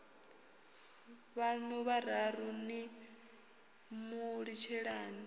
vhaṋu vhararu ni mu litshelani